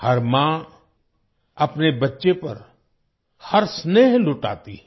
हर माँ अपने बच्चे पर हर स्नेह लुटाती है